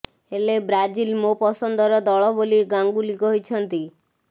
ହେଲେ ବ୍ରାଜିଲ ମୋ ପସନ୍ଦର ଦଳ ବୋଲି ଗାଙ୍ଗୁଲି କହିଛନ୍ତି